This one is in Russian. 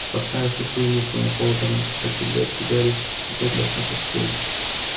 поставив пустую миску на пол рядом с кошачьей дверцей гарри опять лёг на постель